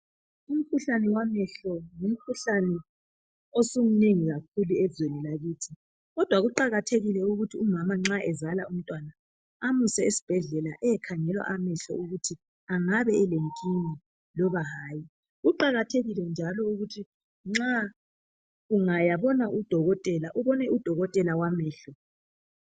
Umkhuhlane wamehlo ngumkhuhlane osumnengi kakhulu ezweni lakithi. Kodwa kuqakathekile ukuthi umama nxa ezala umntwana amuse esibhedlela ayekhangelwa ukuthi amehlo angaba lenkinga loba hayi. Kuqakathekile njalo ukuthi nxa ungayabona udokotela, ubone udokotela wamehlo.